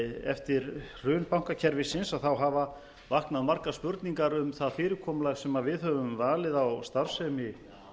eftir hrun bankakerfisins hafa vaknað margar spurningar um það fyrirkomulag sem við höfum valið á starfsemi